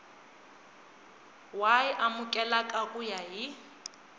y amukeleka ku ya hi